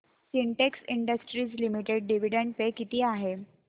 Sintex industries limited dividend pay किती आहे